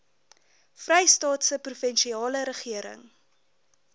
vrystaatse provinsiale regering